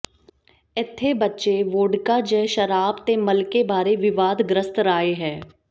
ਇੱਥੇ ਬੱਚੇ ਵੋਡਕਾ ਜ ਸ਼ਰਾਬ ਤੇ ਮਲਕੇ ਬਾਰੇ ਵਿਵਾਦਗ੍ਰਸਤ ਰਾਏ ਹੈ